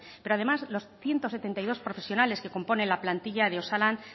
pero además los ciento setenta y dos profesionales que componen la plantilla de osalan